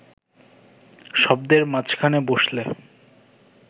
শব্দের মাঝখানে বসলে